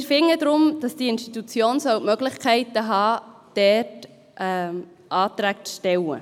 Wir finden deshalb, dass diese Institution die Möglichkeit haben soll, Anträge zu stellen.